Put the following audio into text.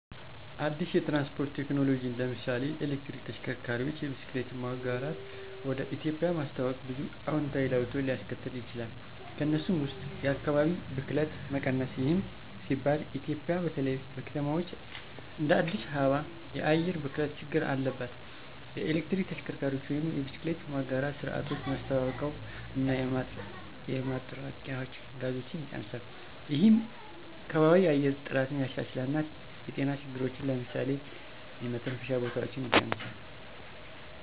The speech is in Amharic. አዲስ የትራንስፖርት ቴክኖሎጂን (ለምሳሌ የኤሌክትሪክ ተሽከርካሪዎች፣ የብስክሌት መጋራት) ወደ ኢትዮጵያ ማስተዋወቅ ብዙ አዎንታዊ ለውጦችን ሊያስከትል ይችላል። ከእነሱም ውስጥ የአካባቢ ብክለት መቀነስ ይህም ሲባል ኢትዮጵያ በተለይ በከተማዎች እንደ አዲስ አበባ የአየር ብክለት ችግር አለባት። የኤሌክትሪክ ተሽከርካሪዎች ወይም የብስክሌት መጋራት ስርዓቶች ማስተዋውቀው እና የማጥረቂያ ጋዞችን ይቀንሳል። ይህም የከባቢያዊ የአየር ጥራትን ያሻሽላል እና የጤና ችግሮችን (ለምሳሌ የመተንፈሻ በሽታዎች) ይቀንሳል።